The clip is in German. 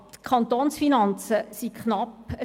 Nochmals: Die Kantonsfinanzen sind knapp.